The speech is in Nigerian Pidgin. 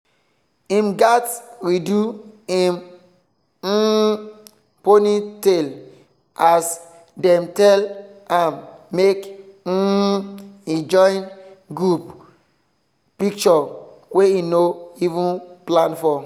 him gatz redo him um ponytail as dem tell am make um he join group picture wey he no even plan for.